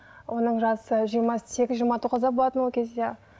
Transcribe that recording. оның жасы жиырма сегіз жиырма тоғызда болатын ол кезде